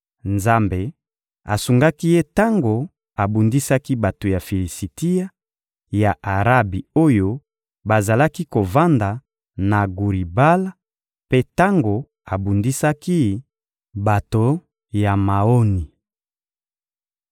Nzambe asungaki ye tango abundisaki bato ya Filisitia, ya Arabi oyo bazalaki kovanda na Guri-Bala, mpe tango abundisaki bato ya Maoni.